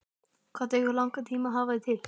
Hvað tekur langan tíma að hafa þig til?